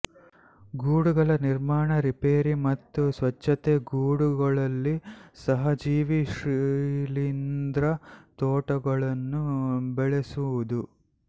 ಗೂಡುಗಳ ನಿರ್ಮಾಣ ರಿಪೇರಿ ಮತ್ತು ಸ್ವಚ್ಛತೆ ಗೂಡುಗಳಲ್ಲಿ ಸಹಜೀವಿ ಶಿಲೀಂದ್ರ ತೋಟಗಳನ್ನು ಬೆಳೆಸುವುದು